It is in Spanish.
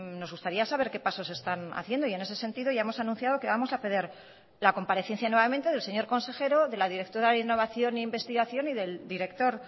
nos gustaría saber qué pasos se están haciendo y en ese sentido ya hemos anunciado que vamos a pedir la comparecencia nuevamente del señor consejero de la directora de innovación e investigación y del director